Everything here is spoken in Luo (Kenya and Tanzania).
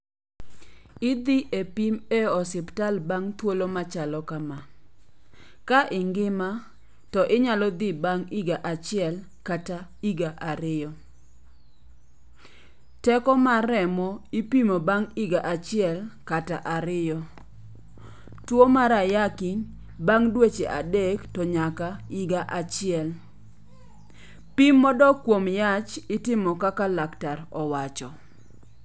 Idhi e pim e osiptal bang' thuolo machalo kama. Ka ingima to inya dhi bang' higa achiel kata higa ariyo. Teko mar remo ipimo bang' higa achiel kata ariyo. Tuo mar ayaki bang' dweche adek to nyaka higa achiel. Pim modok kuom yach itimo kaka laktar owacho.